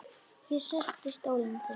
Ég sest í stólinn þinn.